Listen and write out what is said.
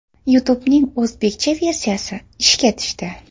YouTube’ning o‘zbekcha versiyasi ishga tushdi.